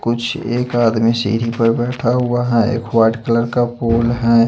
कुछ एक आदमी सीढ़ी पर बैठा हुआ है एक वाइट कलर का फूल है।